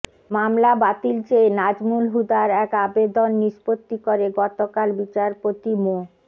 মামলা বাতিল চেয়ে নাজমুল হুদার এক আবেদন নিষ্পত্তি করে গতকাল বিচারপতি মো